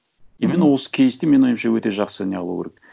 именно осы кейсті менің ойымша өте жақсы не қылу керек